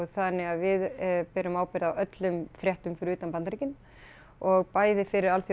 þannig að við berum ábyrgð á öllum fréttum fyrir utan Bandaríkin og bæði fyrir